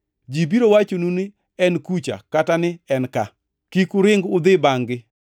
Ji biro wachonu ni, ‘En kucha!’ Kata ni, ‘En ka!’ Kik uring udhi bangʼ-gi.